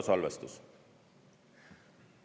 Hüdrosalvestus.